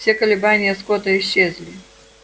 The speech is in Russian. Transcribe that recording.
все колебания скотта исчезли